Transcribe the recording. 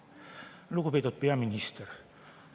Lugupeetud peaminister!